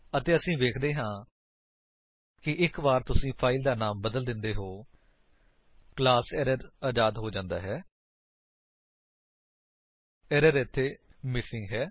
ਅਤੇ ਅਸੀ ਵੇਖਦੇ ਹਾਂ ਕਿ ਇੱਕ ਵਾਰ ਤੁਸੀ ਫਾਇਲ ਦਾ ਨਾਮ ਬਦਲ ਦਿੰਦੇ ਹੋ ਕਲਾਸ ਏਰਰ ਅਜ਼ਾਦ ਹੋ ਜਾਂਦਾ ਹੈ ਏਰਰ ਇੱਥੇ ਮਿਸਿੰਗ ਹੈ